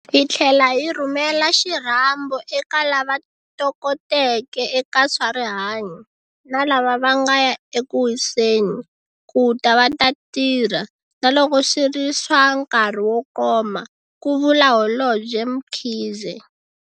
Hi tlhela hi rhumela xirhambo eka lava tokoteke eka swa rihanyo, na lava va nga ya eku wiseni, ku ta va ta tirha - naloko swi ri swa nkarhi wo koma, ku vula Holobye Mkhize.